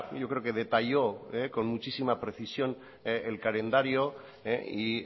yo creo que detalló con muchísima precisión el calendario y